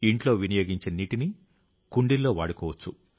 ఇంట్లో వినియోగించిన నీటిని కుండీల్లో వాడుకోవచ్చు